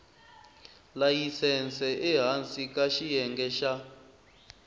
layisense ehansi ka xiyenge xa